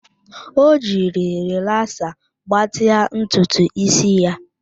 O jiri rịlaasa gbatịa ntutu ísí ya